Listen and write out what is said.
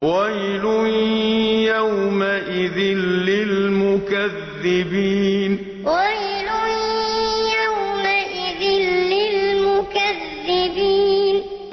وَيْلٌ يَوْمَئِذٍ لِّلْمُكَذِّبِينَ وَيْلٌ يَوْمَئِذٍ لِّلْمُكَذِّبِينَ